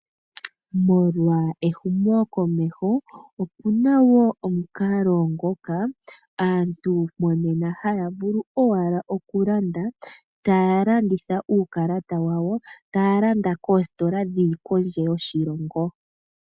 Molwa ehumokomeho opu na omukalo ngoka aantu monena haya vulu owala okulanda taya longitha uukalata, taya landa koositola dhi li kondje yoshilongo.